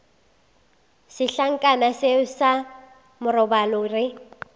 setlankana seo sa marobalo re